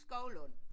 Skovlund